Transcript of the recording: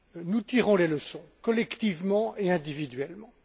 Nous tirons les leçons collectivement et individuellement.